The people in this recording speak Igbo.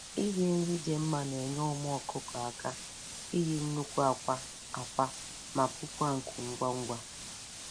Iri nri dị mma na-enye ụmụ ọkụkọ aka iyi nnukwu akwa akwa ma puokwa nku ngwa ngwa.